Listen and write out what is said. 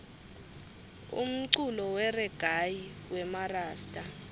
umculo weregayi wemarasta